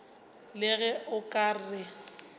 le ge o ka re